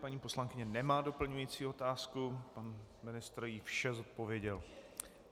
Paní poslankyně nemá doplňující otázku, pan ministr jí vše zodpověděl.